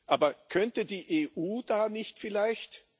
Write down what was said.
Aber könnte die EU da nicht vielleicht